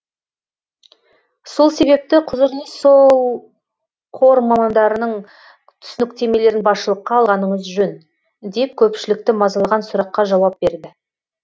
сол себепті құзырлы сол қор мамандарының түсініктемелерін басшылыққа алғаныңыз жөн деп көпшілікті мазалаған сұраққа жауап берді